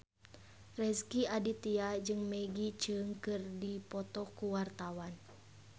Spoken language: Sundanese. Rezky Aditya jeung Maggie Cheung keur dipoto ku wartawan